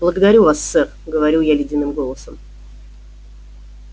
благодарю вас сэр говорю я ледяным голосом